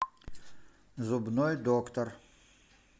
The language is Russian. зубной доктор